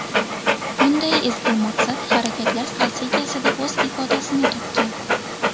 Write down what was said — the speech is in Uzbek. Bunday ezgu maqsad Harakatlar strategiyasida o‘z ifodasini topgan.